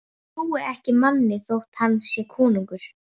Ég trúi ekki manni þótt hann sé konungur.